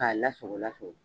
K'a lasago lasago